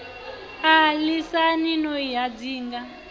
a lisani no i hadzinga